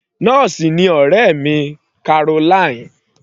Nọ́ọ̀sì ni ọ̀rẹ́ mi Caroline.